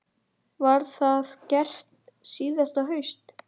Var það gert síðasta haust.